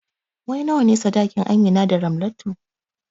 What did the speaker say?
Wai nawane saɗakin Amina da Ramlatu?